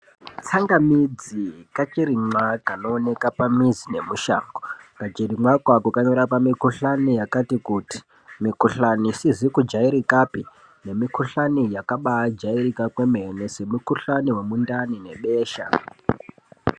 Tsangamidzi kachirimwa kanooneka pamizi nemushango. Kachirimwako ako kanorapa mikuhlani yakati kuti. Mikuhlani isizi kujairikapi nemikuhlani yakabaijairika kwemene, semukuhlani wemundani nebesha.